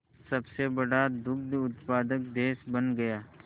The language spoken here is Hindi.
सबसे बड़ा दुग्ध उत्पादक देश बन गया